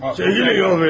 Çəkilin, yol verin.